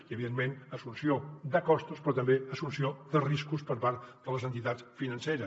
i evidentment assumpció de costos però també assumpció de riscos per part de les entitats financeres